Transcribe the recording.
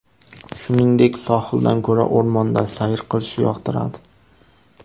Shuningdek, sohildan ko‘ra o‘rmonda sayr qilishni yoqtiradi.